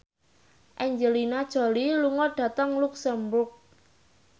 Angelina Jolie lunga dhateng luxemburg